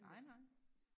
nej nej